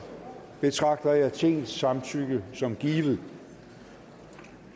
betragter jeg tingets samtykke som givet